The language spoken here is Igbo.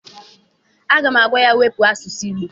Agam agwa ya, wepụ asụsụ Igbo!